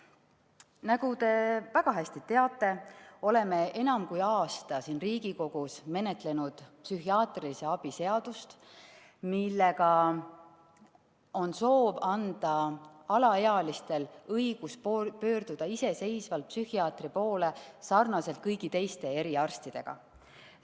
Nagu te väga hästi teate, oleme enam kui aasta siin Riigikogus menetlenud psühhiaatrilise abi seadust, millega on soov anda alaealistele õigus pöörduda iseseisvalt psühhiaatri poole, nii nagu nad saavad pöörduda kõigi teiste eriarstide poole.